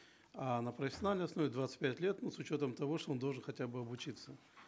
а на профессиональной основе двадцать пять лет ну с учетом того что он должен хотя бы обучиться